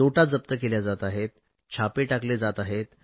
नोटा जप्त केल्या जात आहेत छापे टाकले जात आहेत